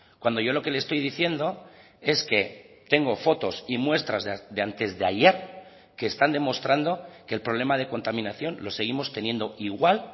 cuando yo lo que le estoy diciendo es que tengo fotos y muestras de antes de ayer que están demostrando que el problema de contaminación lo seguimos teniendo igual